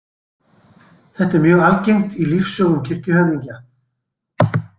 Þetta er mjög algengt í lífssögum kirkjuhöfðingja.